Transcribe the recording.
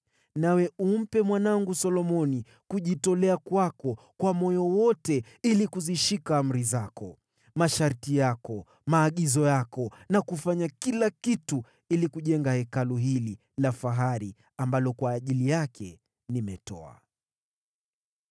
Nawe umpe mwanangu Solomoni kujitolea kwako kwa moyo wote ili kuzishika amri zako, masharti yako, maagizo yako na kufanya kila kitu ili kujenga Hekalu hili la fahari ambalo kwa ajili yake nimetoa.”